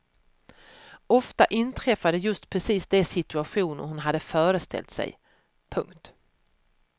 Ofta inträffade just precis de situationer hon hade föreställt sig. punkt